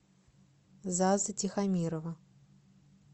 заза тихомирова